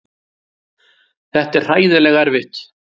Þetta er hræðilega erfitt.